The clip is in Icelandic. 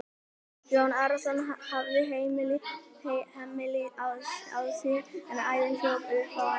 Jón Arason hafði hemil á sér en æðin hljóp upp á enninu.